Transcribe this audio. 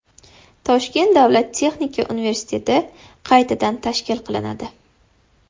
Toshkent davlat texnika universiteti qaytadan tashkil qilinadi .